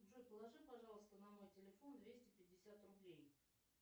джой положи пожалуйста на мой телефон двести пятьдесят рублей